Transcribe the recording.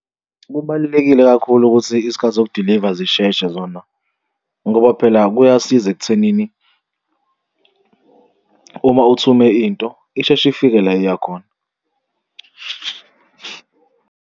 Kubalulekile kakhulu ukuthi izikhathi zokudiliva zisheshe zona, ngoba phela kuyasiza ekuthenini uma uthume into isheshe ifike la eya khona.